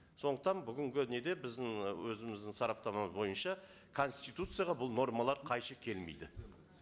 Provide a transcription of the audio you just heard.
сондықтан бүгінгі неде біздің і өзіміздің сараптамамыз бойынша конституцияға бұл нормалар қайшы келмейді